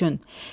Düşün.